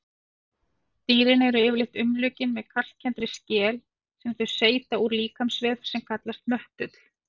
Dýrin eru yfirleitt umlukin með kalkkenndri skel sem þau seyta úr líkamsvef sem kallast möttull.